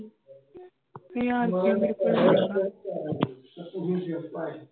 ਹਜ਼ਾਰ ਰੁਪਈਆ ਮੇਰੇ ਕੋਲ ਹੈਗਾ